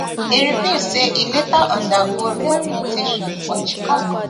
e reveal say e later undergo rehabilitation for chicago